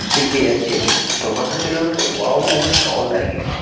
Sheep দিয়ে যাচ্ছিলাম তো হঠাৎ দেখলাম একটা ওয়াও মোমো -র স্টল দাঁড়িয়ে আছে।